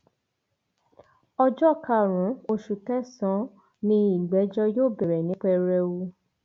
ọjọ karùnún oṣù kẹsànán ni ìgbẹjọ yóò bẹrẹ ní pẹrẹwu